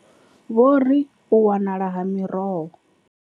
Vho ri, U wanala ha miroho.